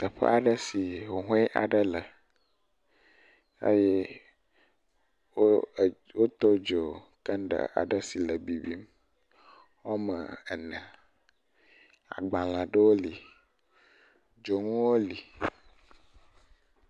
Teƒa ɖe si huhɔ̃e aɖe le, eye wo to dzo candeli aɖe si le bibim ɔme ene, agbalē ɖowo li, dzoŋuwo li.